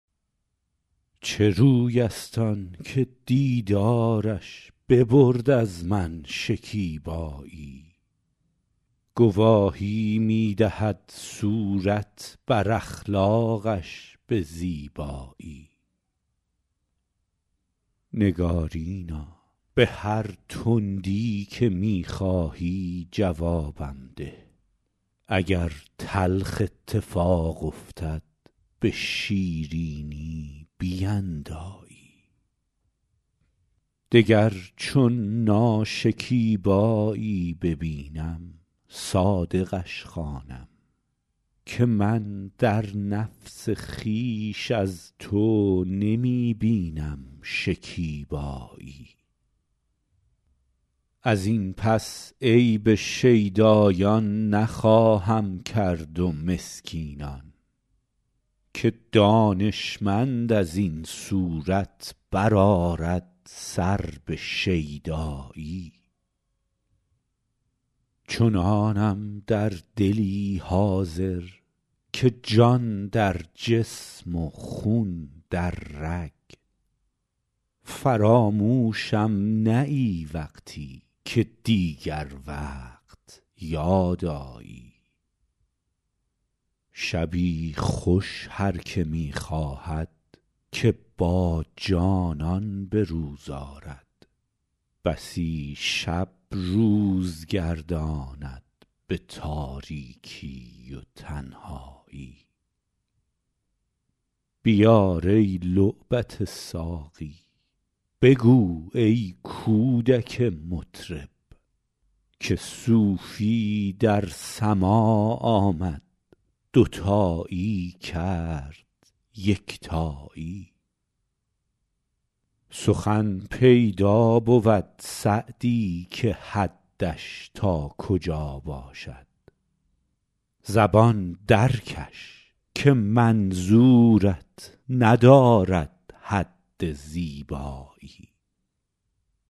چه روی است آن که دیدارش ببرد از من شکیبایی گواهی می دهد صورت بر اخلاقش به زیبایی نگارینا به هر تندی که می خواهی جوابم ده اگر تلخ اتفاق افتد به شیرینی بیندایی دگر چون ناشکیبایی ببینم صادقش خوانم که من در نفس خویش از تو نمی بینم شکیبایی از این پس عیب شیدایان نخواهم کرد و مسکینان که دانشمند از این صورت بر آرد سر به شیدایی چنانم در دلی حاضر که جان در جسم و خون در رگ فراموشم نه ای وقتی که دیگر وقت یاد آیی شبی خوش هر که می خواهد که با جانان به روز آرد بسی شب روز گرداند به تاریکی و تنهایی بیار ای لعبت ساقی بگو ای کودک مطرب که صوفی در سماع آمد دوتایی کرد یکتایی سخن پیدا بود سعدی که حدش تا کجا باشد زبان درکش که منظورت ندارد حد زیبایی